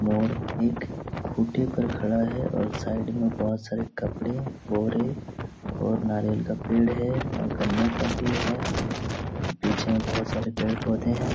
मोर एक खुटे पर खड़ा है और साइड में बहुत सारे कपड़े बोरे और नारियल के पेड़ है और गंने का भी है। पीछे में बहुत सारे पेड़-पौधे हैं।